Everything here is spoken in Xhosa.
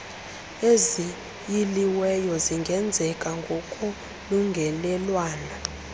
eziyiliweyo zingenzeka ngokolungelelwano